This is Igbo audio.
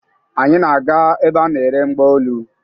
Anyị na-aga ebe a na-ere mgbaolu.